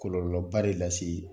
Kɔlɔlɔ ba de lase